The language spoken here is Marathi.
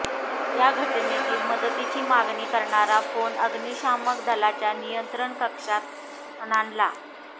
या घटनेत मदतीची मागणी करणारा फोन अग्निशामक दलाच्या नियंत्रण कक्षात खणाणला